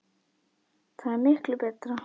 Það er miklu betra.